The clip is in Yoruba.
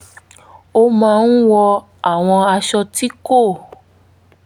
ó máa ń wọ àwọn aṣọ tí kò